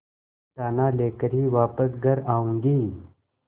दाना लेकर ही वापस घर आऊँगी